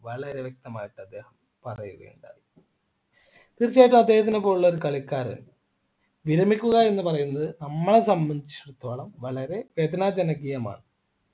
വളരെ വ്യക്തമായിട്ട് അദ്ദേഹം പറയുകണ്ടായി തീർച്ചയായും അദ്ദേഹത്തിനെ പോലുള്ള ഒരു കളിക്കാരൻ വിരമിക്കുക എന്ന് പറയുന്നത് നമ്മളെ സംബന്ധിച്ചിടത്തോളം വളരെ വേദനാജനകീയമാണ്